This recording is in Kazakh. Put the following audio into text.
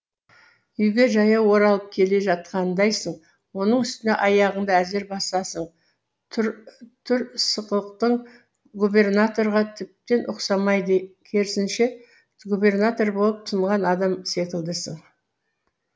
үйге жаяу оралып келе жатқандайсың оның үстіне аяғыңды әзер басасың түр сықықтың губернаторға тіптен ұқсамайды керісінше губернатор болып тынған адам секілдісің